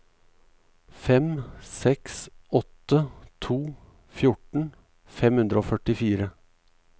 fem seks åtte to fjorten fem hundre og førtifire